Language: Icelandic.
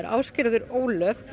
Ásgerður Ólöf